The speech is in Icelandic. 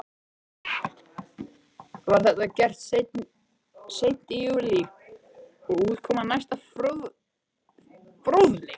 Var þetta gert seint í júní og útkoman næsta fróðleg.